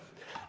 Aitäh!